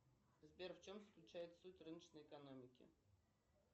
сбер в чем заключается суть рыночной экономики